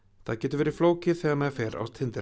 það getur verið flókið þegar maður fer á